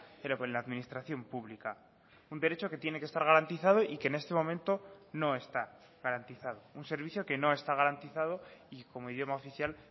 pero con la administración pública un derecho que tiene que estar garantizado y que en este momento no está garantizado un servicio que no está garantizado y como idioma oficial